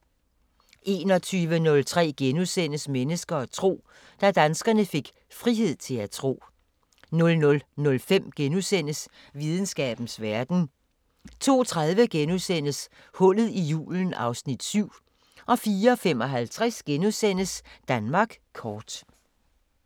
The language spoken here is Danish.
21:03: Mennesker og tro: Da danskerne fik frihed til at tro * 00:05: Videnskabens Verden * 02:30: Hullet i julen (Afs. 7)* 04:55: Danmark kort *